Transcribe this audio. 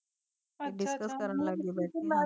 ਕੱਲੀ ਉਤੇ ਪਰ ਮੈਂ ਵੀ ਨਾ ਬਾਰੇ